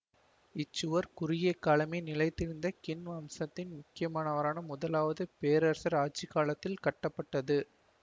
இச் சுவர் குறுகிய காலமே நிலைத்திருந்த கின் வம்சத்தின் முக்கியமானவரான முதலாவது பேரரசர் ஆட்சி காலத்தில் கட்டப்பட்டது